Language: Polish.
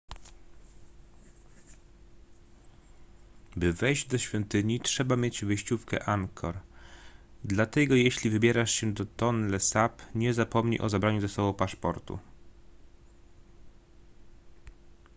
by wejść do świątyni trzeba mieć wejściówkę angkor dlatego jeśli wybierasz się do tonle sap nie zapomnij o zabraniu ze sobą paszportu